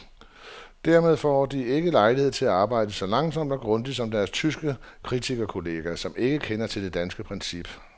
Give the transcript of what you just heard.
Dermed får de ikke lejlighed til at arbejde så langsomt og grundigt som deres tyske kritikerkolleger, som ikke kender til det danske princip.